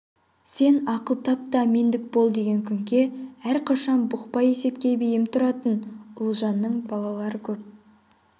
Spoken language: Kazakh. сен ақыл тап та мендік бол деген күнке әрқашан бұқпа есепке бейім тұратын ұлжанның балалары көп